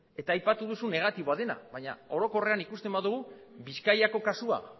eta aipatu duzu negatiboa dena baina orokorrean ikusten badugu bizkaiko kasua